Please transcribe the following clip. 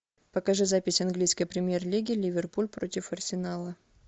покажи запись английской премьер лиги ливерпуль против арсенала